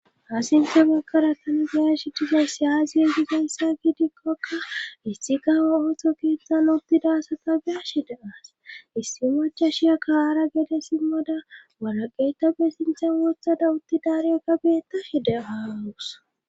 Ha sinthe baggara tanagiyashi diza siyaaziwegi gansa gidikkokka issi kaho ooththo geettan uttida asata geashi deaas issi macha shiya kaaara gede simmada waraqeytabe sinchan wothada utti daariya ka beettashi de aawus